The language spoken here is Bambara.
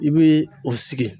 I bi o sigi